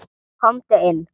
Komdu inn